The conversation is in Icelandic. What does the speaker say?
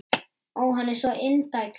Ó, hann er svo indæll!